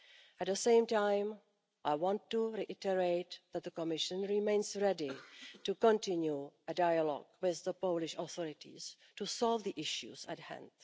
At the same time, I want to reiterate that the Commission remains ready to continue a dialogue with the Polish authorities to solve the issues at hand.